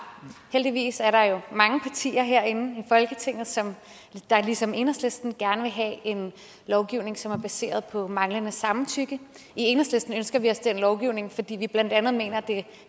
heldigvis er der jo mange partier herinde i folketinget der ligesom enhedslisten gerne vil have en lovgivning som er baseret på manglende samtykke i enhedslisten ønsker vi os den lovgivning fordi vi blandt andet mener at det